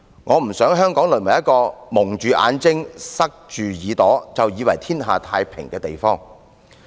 我不想香港淪為"蒙着眼睛，塞着耳朵，便以為天下太平"的地方。